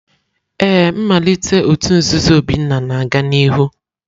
Ee, mmalite òtù nzuzo Obinna na-aga n'ihu.